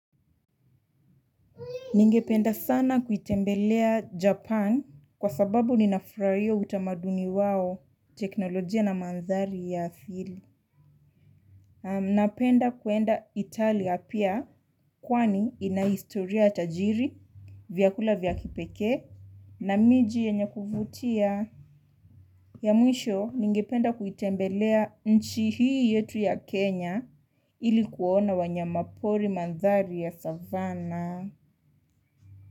Ningependa sana kutembelea Japan kwa sababu ninafurahia utamaduni wao, teknolojia na mandhari ya asili. Napenda kuenda Italia pia kwani ina historia tajiri, vyakula vya kipekee, na miji yenye kuvutia. Ya mwisho, ningependa kuitembelea nchi hii yetu ya Kenya ili kuona wanyama pori, mandhari ya savana.